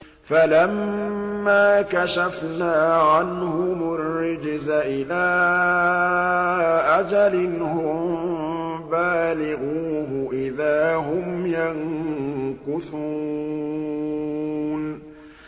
فَلَمَّا كَشَفْنَا عَنْهُمُ الرِّجْزَ إِلَىٰ أَجَلٍ هُم بَالِغُوهُ إِذَا هُمْ يَنكُثُونَ